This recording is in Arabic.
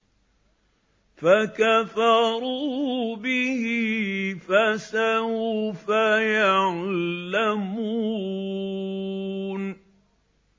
فَكَفَرُوا بِهِ ۖ فَسَوْفَ يَعْلَمُونَ